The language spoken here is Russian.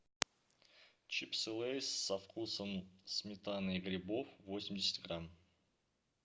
чипсы лейс со вкусом сметаны и грибов восемьдесят грамм